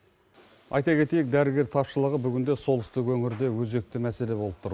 айта кетейік дәрігер тапшылығы бүгінде солтүстік өңірде өзекті мәселе болып тұр